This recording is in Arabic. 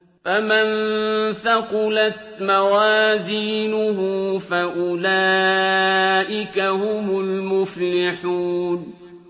فَمَن ثَقُلَتْ مَوَازِينُهُ فَأُولَٰئِكَ هُمُ الْمُفْلِحُونَ